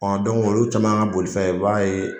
olu caman ka bolifɛn i b'a ye